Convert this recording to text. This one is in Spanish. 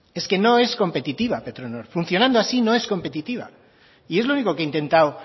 es que no es competitiva petronor funcionando así no es competitiva y es lo único que he intentado